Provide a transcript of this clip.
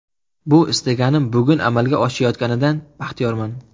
Bu istagim bugun amalga oshayotganidan baxtiyorman.